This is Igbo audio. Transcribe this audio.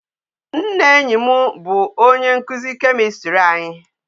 Nna enyi m bụ onye nkuzi kemistri anyi